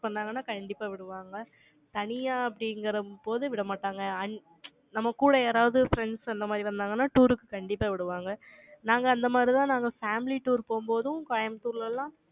பண்ணாங்கன்னா, கண்டிப்பா விடுவாங்க தனியா அப்படிங்கிற போது விடமாட்டாங்க. நம்ம கூட யாராவது friends அந்த மாதிரி வந்தாங்கன்னா, tour க்கு கண்டிப்பா விடுவாங்க. நாங்க அந்த மாதிரிதான், நாங்க family tour போம்போதும், கோயம்புத்தூர்ல எல்லாம்,